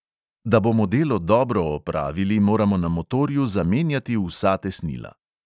Da bomo delo dobro opravili moramo na motorju zamenjati vsa tesnila.